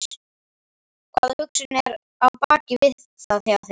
hvaða hugsun er á bak við það hjá þér?